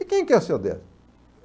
E quem que é o seu Décio?